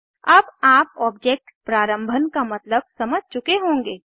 अब आप ऑब्जेक्ट प्रारम्भन का मतलब समझ चुके होंगे